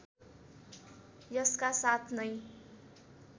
यसका साथ नै